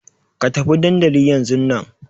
Ka tafi dandli yanzun na!